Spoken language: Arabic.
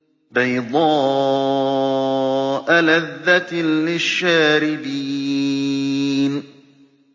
بَيْضَاءَ لَذَّةٍ لِّلشَّارِبِينَ